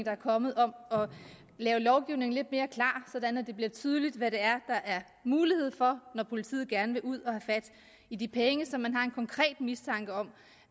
er kommet om at lave lovgivningen lidt mere klar sådan at det bliver tydeligt hvad der er mulighed for når politiet gerne vil ud at have fat i de penge som man har en konkret mistanke om